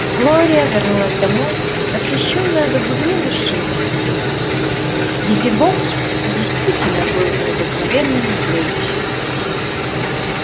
глория вернулась домой восхищённая до глубины души визивокс действительно был необыкновенным зрелищем